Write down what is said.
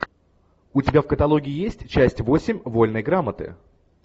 у тебя в каталоге есть часть восемь вольной грамоты